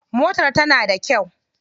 Motar tana da kyau.